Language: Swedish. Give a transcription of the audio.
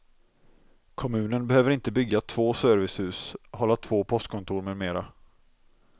Kommunen behöver inte bygga två servicehus, hålla två postkontor med mera.